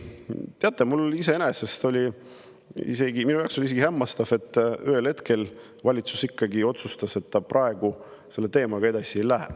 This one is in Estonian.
Teate, iseenesest see oli minu jaoks isegi hämmastav, et ühel hetkel valitsus ikkagi otsustas, et ta praegu selle teemaga edasi ei lähe.